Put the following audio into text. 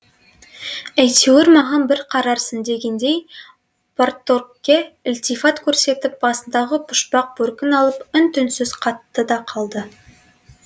әйтеуір маған бір қарарсың дегендей парторгке ілтифат көрсетіп басындағы пұшпақ бөркін алып үн түнсіз қатты да қалды